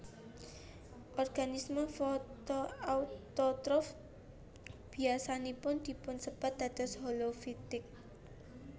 Organisme fotoautotrof biasanipun dipunsebat dados holofitik